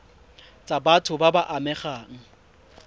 tsa batho ba ba amegang